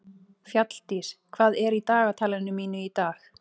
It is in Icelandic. Fjalldís, hvað er í dagatalinu mínu í dag?